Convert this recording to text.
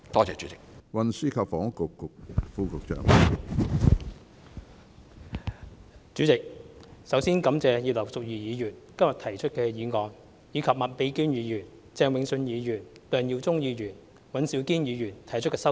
主席，首先感謝葉劉淑儀議員今天提出的議案，以及麥美娟議員、鄭泳舜議員、梁耀忠議員、尹兆堅議員提出的修正案。